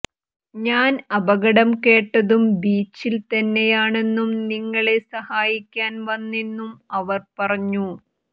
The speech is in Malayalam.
ഞാൻ അപകടം കേട്ടതും ബീച്ചിൽ തന്നെയാണെന്നും നിങ്ങളെ സഹായിക്കാൻ വന്നെന്നും അവർ പറഞ്ഞു